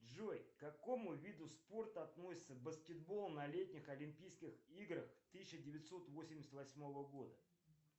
джой к какому виду спорта относится баскетбол на летних олимпийских играх тысяча девятьсот восемьдесят восьмого года